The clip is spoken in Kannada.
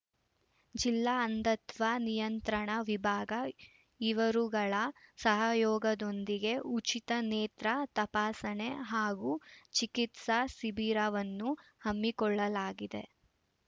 ಜಿಲ್ಲಾ ಅಂಧತ್ವ ನಿಯಂತ್ರಣ ವಿಭಾಗ ಇವರುಗಳ ಸಹಯೋಗದೊಂದಿಗೆ ಉಚಿತ ನೇತ್ರ ತಪಾಸಣೆ ಹಾಗೂ ಚಿಕಿತ್ಸಾ ಸಿಬಿರವನ್ನು ಹಮ್ಮಿಕೊಳ್ಳಲಾಗಿದೆ